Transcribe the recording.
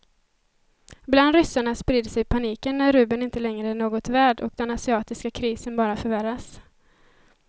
Bland ryssarna sprider sig paniken när rubeln inte längre är något värd och den asiatiska krisen bara förvärras.